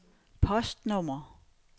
postnummer